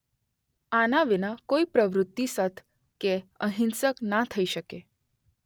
આના વિના કોઈ પ્રવૃત્તિ સત્ કે અહિંસક ના થઇ શકે